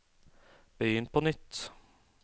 begynn på nytt